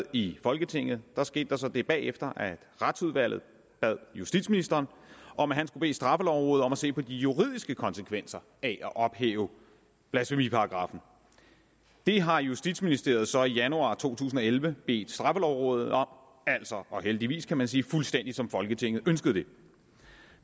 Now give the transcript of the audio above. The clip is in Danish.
i folketinget skete der så det bagefter at retsudvalget bad justitsministeren om at bede straffelovrådet om at se på de juridiske konsekvenser af at ophæve blasfemiparagraffen det har justitsministeriet så i januar to tusind og elleve bedt straffelovrådet om altså og heldigvis kan man sige fuldstændig som folketinget ønskede det